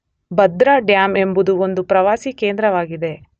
ಭದ್ರ dam ಎಂಬುದು ಒಂದು ಪ್ರವಾಸೀ ಕೇಂದ್ರವಾಗಿದೆ.